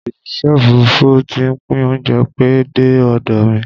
Osìṣẹ́ òfurufú ti ń pín óúnjẹ pẹ́ dé ọ̀dọ̀ mi